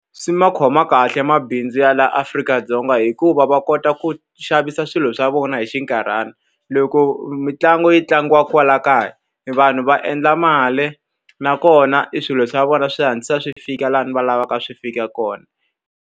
Swi ma khoma kahle mabindzu ya laha Afrika-Dzonga hikuva va kota ku xavisa swilo swa vona hi xinkarhana. Loko mitlangu yi tlangiwaka kwala kaya, vanhu va endla mali nakona e swilo swa vona swi hatlisa swi fika laha ni va lavaka swi fika kona.